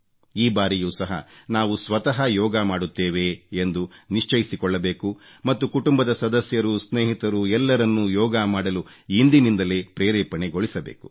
ಈ ಬಾರಿಯೂ ಸಹ ನಾವು ಸ್ವತಃ ಯೋಗ ಮಾಡುತ್ತೇವೆ ಎಂದು ನಿಶ್ಚಯಸಿಕೊಳ್ಳಬೇಕು ಮತ್ತು ಕುಟುಂಬದ ಸದಸ್ಯರು ಸ್ನೇಹಿತರು ಎಲ್ಲರನ್ನೂ ಯೋಗ ಮಾಡಲು ಇಂದಿನಿಂದಲೇ ಪ್ರೇರೇಪಣೆಗೊಳಿಸಬೇಕು